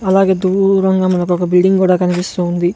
అలాగే దూరంగా మనకొక బిల్డింగ్ కూడా కనిపిస్తూ ఉంది.